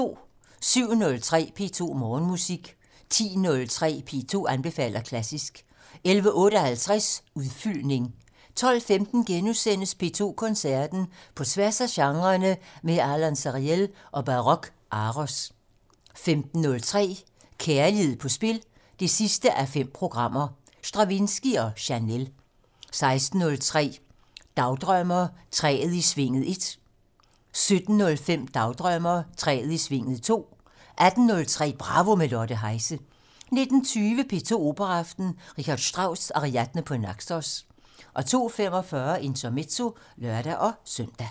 07:03: P2 Morgenmusik 10:03: P2 anbefaler klassisk 11:58: Udfyldning 12:15: P2 Koncerten - På tværs af genrerne med Alon Sariel og Baroque Aros * 15:03: Kærlighed på spil 5:5 - Stravinskij og Chanel 16:03: Dagdrømmer: Træet i svinget 1 17:05: Dagdrømmer: Træet i svinget 2 18:03: Bravo - med Lotte Heise 19:20: P2 Operaaften - R. Strauss: Ariadne på Naxos 02:45: Intermezzo (lør-søn)